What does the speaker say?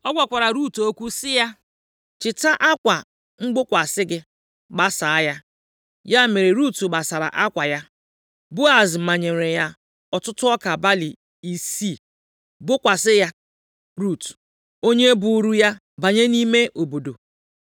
O gwakwara Rut okwu sị ya, “Chịta akwa mgbokwasị gị, gbasaa ya.” Ya mere Rut gbasara akwa ya, Boaz manyere ya ọtụtụ ọka balị isii, bokwasị ya Rut, onye buuru ya banye nʼime obodo.